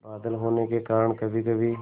बादल होने के कारण कभीकभी